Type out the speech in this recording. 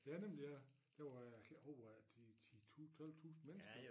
Ja nemlig ja det var ja uha de 10 12 tusind mennesker